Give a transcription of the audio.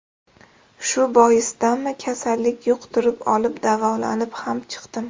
Shu boisdanmi kasallik yuqtirib olib, davolanib ham chiqdim.